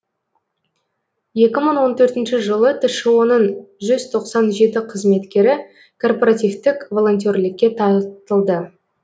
екі мың он төртінші жылы тшо ның жүз тоқсан жеті қызметкері корпоративтік волонтерлікке тартылды